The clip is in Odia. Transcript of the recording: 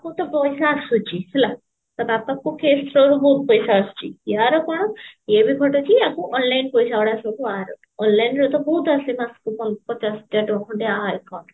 କୁ ତ ପଇସା ଆସୁଛି ହେଲା ତା ବାପାକୁ ବହୁତ ପଇସା ଆସୁଛି ଆର କଣ ଇଏ ବି ଖଟୁଛି ଆକୁ online ପଇସା ଗୁଡା ସବୁ ଆର online ରେ ବହୁତ ଆସେ ମାସକୁ ପଚାଶ ହଜାର ଟଙ୍କା ଖଣ୍ଡେ ଆ ହାତକୁ